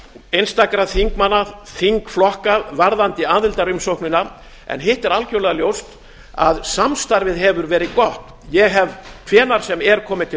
einstakra þingmanna þingflokka varðandi aðildarumsóknina en hitt er algjörlega ljóst að samstarfið hefur verið gott ég hef hvenær sem er komið til